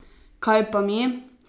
Kaj pa mi?